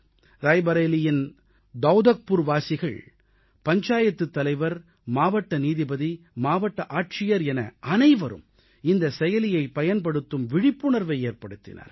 ரேபரேலியின் தவுதக்புர்வாசிகள் பஞ்சாயத்துத் தலைவர் மாவட்ட நீதிபதி மாவட்ட ஆட்சியர் என அனைவரும் இந்த செயலியைப் பயன்படுத்தும் விழிப்புணர்வை ஏற்படுத்தினார்கள்